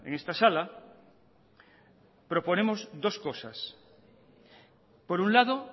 esta sala proponemos dos cosas por un lado